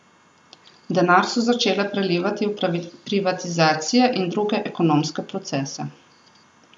Denar so začele prelivati v privatizacije in druge ekonomske procese.